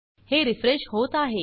हे रेफ्रेश होत आहे